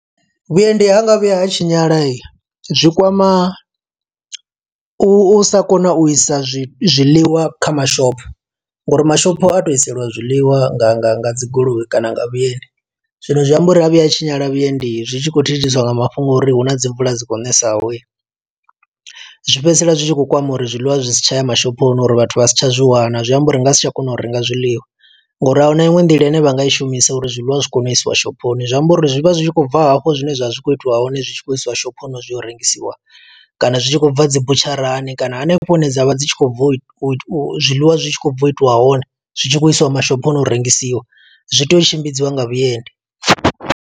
Vhuendi ha nga vhuya ha tshinyala, zwi kwama u sa kona u isa zwi zwiḽiwa kha mashopho, ngo uri mashopo a tou iselwa zwiḽiwa nga nga nga dzi goloi kana nga vhuendi. Zwino zwi amba uri ha vhuya tshinyala vhuendi, zwi tshi khou thithiswa nga mafhungo a uri huna dzi mvula dzi kho ṋesa ho. Zwi fhedzisela zwi tshi khou kwama uri zwiḽiwa zwi si tsha ya mashophoni, uri vhathu vha si tsha zwi wana. Zwi amba uri ri nga si tsha kona u renga zwiḽiwa, ngo uri ahuna iṅwe nḓila ine vha nga i shumisa uri zwiḽiwa zwi kone u isiwa shophoni. Zwi amba uri zwi vha zwi tshi khou bva hafho zwine zwa vha zwi khou itiwa hone, zwi tshi khou isiwa shophoni zwi yo rengisiwa. Kana zwi tshi khou bva dzi butsharani kana hanefho hune dza vha dzi tshi khou bva u, zwiḽiwa zwi tshi khou bva u itiwa hone. Zwi tshi khou isiwa mashophoni u rengisiwa, zwi tea u tshimbidziwa nga vhuendi.